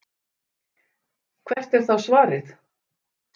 Hvert er þá svarið?